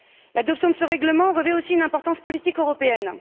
L'adoption de ce règlement revêt aussi une importance politique européenne.